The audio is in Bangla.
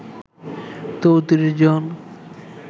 ৩৪ জন